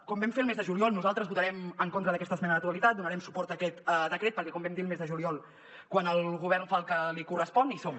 com vam fer el mes de juliol nosaltres votarem en contra d’aquesta esmena a la totalitat donarem suport a aquest decret perquè com vam dir el mes de juliol quan el govern fa el que li correspon hi som